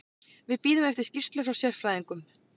Við bíðum eftir skýrslu frá sérfræðingnum.